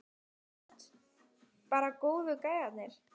Hödd: Bara góðu gæjarnir?